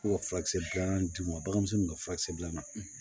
Ko ka furakisɛ dilan d'u ma baganmisɛnninw bɛ furakisɛ dilanna